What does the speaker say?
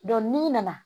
n'i nana